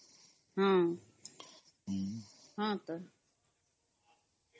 noise